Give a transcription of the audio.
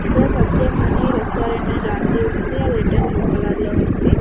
ఇక్కడ సత్యం అని రెస్టారెంట్ అని రాసి ఉంది అది రెడ్ అండ్ బ్లూ కలర్ లో ఉంది.